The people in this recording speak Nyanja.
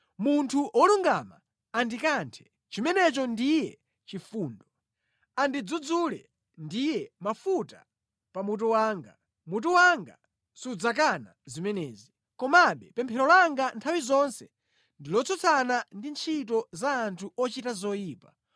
Munthu wolungama andikanthe, chimenecho ndiye chifundo; andidzudzule ndiye mafuta pa mutu wanga. Mutu wanga sudzakana zimenezi. Komabe pemphero langa nthawi zonse ndi lotsutsana ndi ntchito za anthu ochita zoyipa.